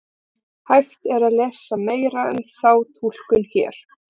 Hægt er að lesa meira um þá túlkun hér.